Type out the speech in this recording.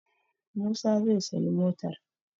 Musa zai sayi motar.